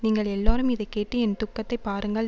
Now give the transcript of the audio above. நீங்கள் எல்லாரும் இதைக்கேட்டு என் துக்கத்தைப் பாருங்கள்